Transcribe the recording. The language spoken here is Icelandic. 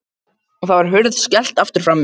Og nú var hurð skellt aftur frammi.